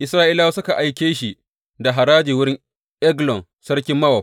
Isra’ilawa suka aike shi da haraji wurin Eglon sarkin Mowab.